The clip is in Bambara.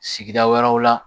Sigida wɛrɛw la